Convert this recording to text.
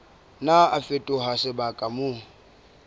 nna a fetoha sebaka moo